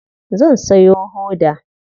Zan sayo hoda.